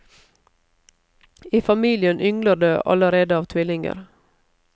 I familien yngler det allerede av tvillinger.